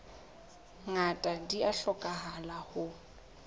ngata di a hlokahala ho